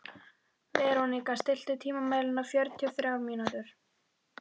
Veróníka, stilltu tímamælinn á fjörutíu og þrjár mínútur.